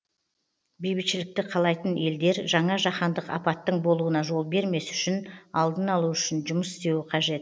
бейбітшілікті қалайтын елдер жаңа жаһандық апаттың болуына жол бермес үшін алдын алу үшін жұмыс істеуі қажет